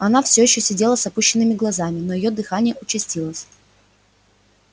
она все ещё сидела с опущенными глазами но её дыхание участилось